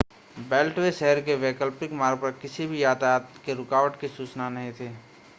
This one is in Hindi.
बेल्टवे शहर के वैकल्पिक मार्ग पर किसी भी यातायात के रुकावट की सूचना नहीं थी